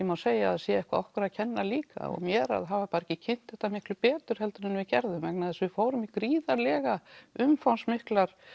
má segja að það sé eitthvað okkur að kenna líka og mér að hafa ekki kynnt þetta bara miklu betur heldur en við gerðum vegna þess að við fórum í gríðarlega umfangsmiklar